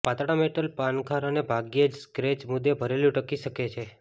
પાતળા મેટલ પાનખર અને ભાગ્યે જ સ્ક્રેચમુદ્દે ભરેલું ટકી શકે છે